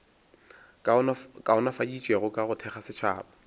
kaonafaditšwego ka go thekga setšhaba